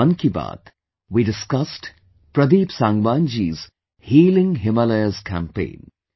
In 'Mann Ki Baat', we discussed Pradeep Sangwan ji's 'Healing Himalayas' campaign